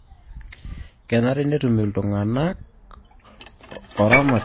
Kenare netum iltung'anak oramatiei le sirkali pesho